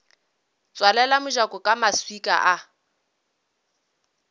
tswalela mojako ka maswika a